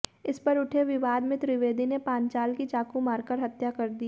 इस पर उठे विवाद में त्रिवेदी ने पांचाल की चाकू मारकर हत्या कर दी